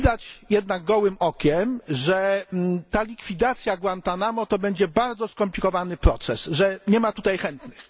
Widać jednak gołym okiem, że ta likwidacja Guantánamo to będzie bardzo skomplikowany proces, że nie ma tutaj chętnych.